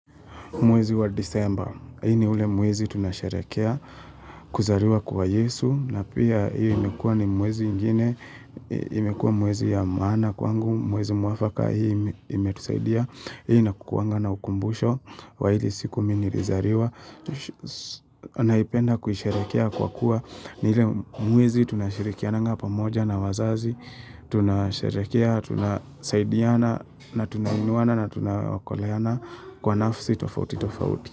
Mwezi wa disemba, hii ni ule mwezi tunasharehekea, kuzaliwa kwa yesu, na pia hii imekua ni mwezi ingine, imekua mwezi ya maana kwangu, mwezi mwafaka hii imetusaidia, hii na kukuanga na ukumbusho, wa ile siku mi nilizaliwa, naipenda kusharehekea kwa kuwa ni ile mwezi tunasharehekeananga pamoja na wazazi, Tunasherehekea, tunasaidiana na tunainuana na tunakoleana kwa nafsi tofauti tofauti.